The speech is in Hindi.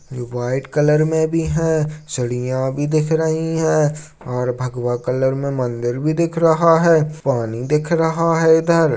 व्हाइट कलर में भी है सीढ़ियां भी दिख रही है और भगवा कलर में मंदिर भी दिख रहा है पानी दिख रहा है इधर।